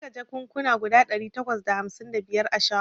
Na ƙirga jakan kuna guda ɗari takwas da hamsin da biyar a shagon